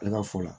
Ale ka fu la